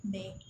De